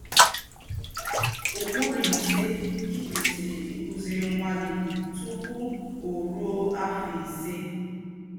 “Ụ́kpùrù Ísé Í Kwèsírì Íkụ́zírì Nwá Gí Tùpù Ó Rùó Áfọ́ Ísé”